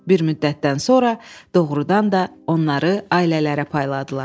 Bir müddətdən sonra doğrudan da onları ailələrə payladılar.